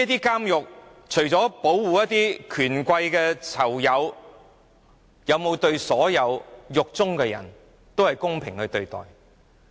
監獄除了保護權貴囚友以外，有沒有公平對待所有囚犯？